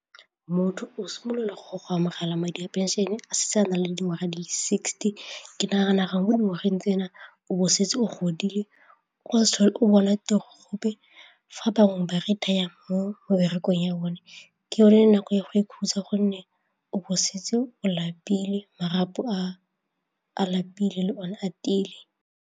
Motho o simolola go go amogela madi a pension-e a setse a na le dingwaga di le sixty ke nagana mo dingwageng tsena o bo o setse o godile o o bona tiro gape fa bangwe ba rata jang mo meberekong ya bone ke le nako ya go ikhutsa gonne o bo o setse o lapile, marapo a a lapile le one a tiile.